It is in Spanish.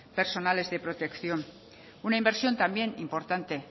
personales de protección una inversión también importante